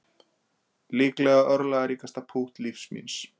Líklega örlagaríkasta pútt lífs míns